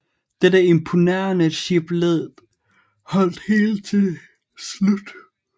Dette imponerende chiplead holdt helt til slut